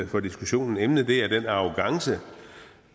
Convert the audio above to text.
for diskussionen emnet er den arrogance